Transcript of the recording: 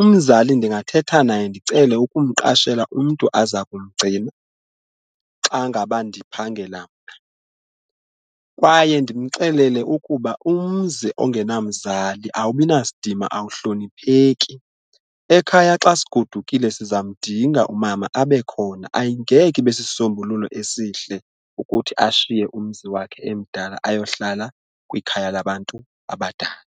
umzali ndingathetha naye ndicele ukumqashela umntu aza kumgcina xa ngaba ndiphangela mna kwaye ndimxelele ukuba umzi ongenamzali awubi nasidima awuhlonipheki. Ekhaya xa sigodukile siza mdinga umama abekhona ayingeke ibe sisisombululo esihle ukuthi ashiye umzi wakhe emdala ayohlala kwikhaya labantu abadala.